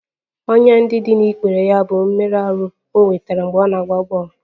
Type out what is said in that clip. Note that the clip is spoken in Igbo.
Ọnyá ndị dị n'ikpere ya bụ mmerụ ahụ e nwetara mgbe ọ na-agba bọl